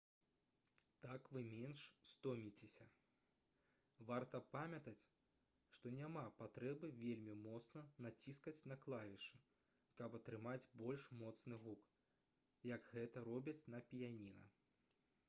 так вы менш стоміцеся варта памятаць што няма патрэбы вельмі моцна націскаць на клавішы каб атрымаць больш моцны гук як гэта робяць на піяніна